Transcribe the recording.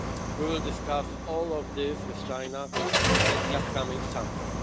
We will discuss all of this with China at the upcoming summit.